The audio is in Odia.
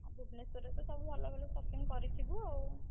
ଭୁବନେଶ୍ୱରରେ ତ ସବୁ ଭଲ ଭଲ shopping କରିଥିବୁ ଆଉ।